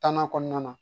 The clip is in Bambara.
Tanan kɔnɔna na